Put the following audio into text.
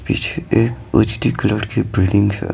पीछे एक उचटी कलर की बिल्डिंग है।